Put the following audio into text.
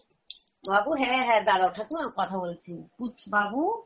বাবু, হ্যাঁ হ্যাঁ দাড়াও ঠাকুমা কথা বলছি, বাবু